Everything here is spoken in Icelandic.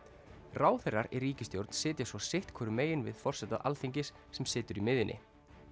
ráðherrar í ríkisstjórn sitja svo sitt hvorum megin við forseta Alþingis sem situr í miðjunni